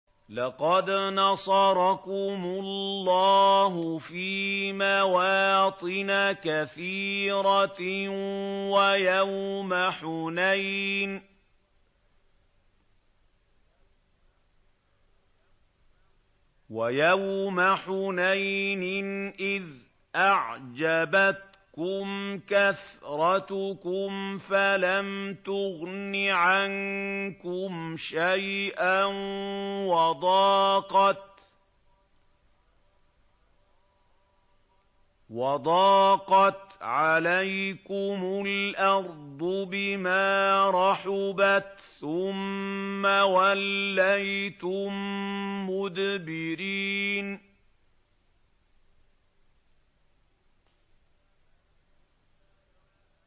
لَقَدْ نَصَرَكُمُ اللَّهُ فِي مَوَاطِنَ كَثِيرَةٍ ۙ وَيَوْمَ حُنَيْنٍ ۙ إِذْ أَعْجَبَتْكُمْ كَثْرَتُكُمْ فَلَمْ تُغْنِ عَنكُمْ شَيْئًا وَضَاقَتْ عَلَيْكُمُ الْأَرْضُ بِمَا رَحُبَتْ ثُمَّ وَلَّيْتُم مُّدْبِرِينَ